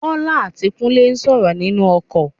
Bólá àti Kúnlé sọrọ ninu okò